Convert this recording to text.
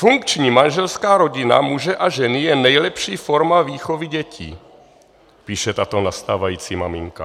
Funkční manželská rodina muže a ženy je nejlepší forma výchovy dětí," píše tato nastávající maminka.